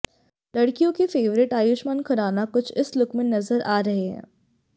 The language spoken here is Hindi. लड़कियों के फेवरेट आयुष्मान खुराना कुछ इस लुक में नजर आ रहे हैं